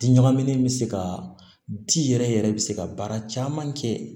Di ɲagamin bɛ se ka di yɛrɛ yɛrɛ bɛ se ka baara caman kɛ